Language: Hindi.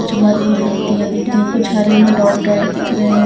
कुछ मेहरून पत्तियां दिख रही हैं कुछ हरे में डॉट डॉट दिख रहे हैं।